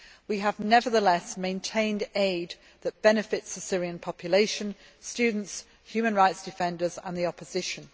We have nevertheless maintained aid that benefits the Syrian population, students, human rights defenders and the opposition.